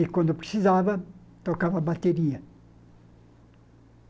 E quando precisava, tocava bateria.